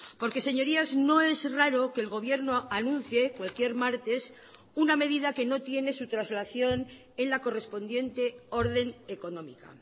porque señorías no es raro que el gobierno anuncie cualquier martes una medida que no tiene su traslación en la correspondiente orden económica